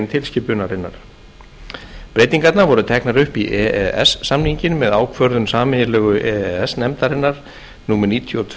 tilskipunarinnar breytingarnar voru teknar upp í e e s samninginn með ákvörðun sameiginlegu e e s nefndarinnar númer níutíu og tvö